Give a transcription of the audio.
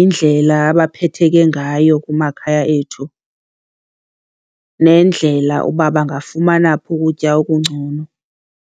indlela abaphetheke ngayo kumakhaya ethu nendlela uba bangafumana phi ukutya okungcono.